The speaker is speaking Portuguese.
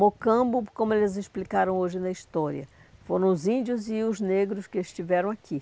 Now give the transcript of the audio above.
Mocambo, como eles explicaram hoje na história, foram os índios e os negros que estiveram aqui.